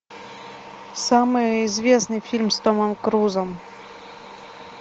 самый известный фильм с томом крузом